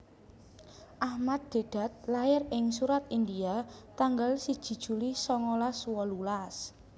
Ahmad Deedat lair ing Surat India tanggal siji juli songolas wolulas